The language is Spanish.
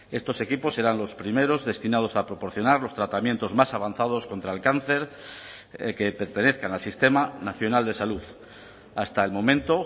estos equipos serán los primeros destinados a proporcionar los tratamientos más avanzados contra el cáncer que pertenezcan al sistema nacional de salud hasta el momento